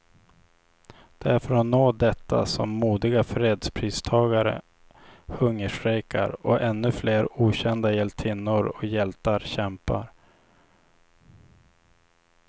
Det är för att nå detta som modiga fredspristagare hungerstrejkar, och ännu flera okända hjältinnor och hjältar kämpar.